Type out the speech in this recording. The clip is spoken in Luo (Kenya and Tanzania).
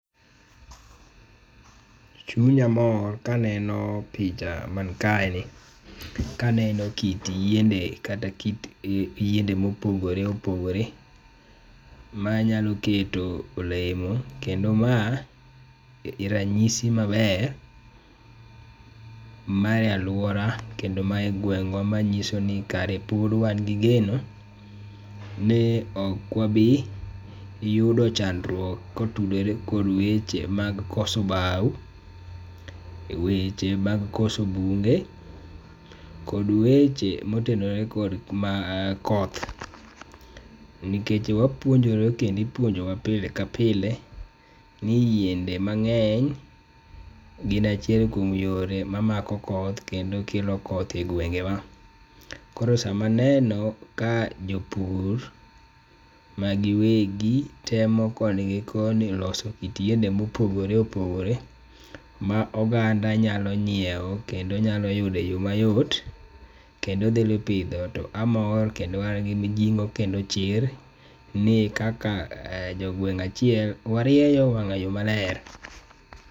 Chunya mor ka aneno picha man kaeni , ka aneno kit yiende kata kit yiende mopogore opogore manyalo keto olemo kendo ma e ranyisi maber mar aluora kendo mar gweng'wa manyiso ni kare pod wan gi geno ni ok wabi yudo chandruok kotudore kod weche mag koso bao, weche mag koso bunge kod weche motenore kod koth. Nikech wapuonjore kendo ipuonjowa pile ka pile ni yiende mang'eny gin achiel kuom yore mamako koth kendo kelo koth e gwengewa. Koro sama aneno ka jopur ma giwegi temo koni gi koni loso kit yiende ma opogore opogore ma oganda nyalo nyiewo kendo nyalo yudo e yo mayot to amor kendo an gi mijing'o kendo chir ni kaka jo gweng' achiel warieyo wang'ayo maler.